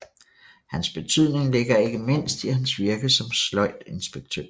Hans betydning ligger ikke mindst i hans virke som sløjdinspektør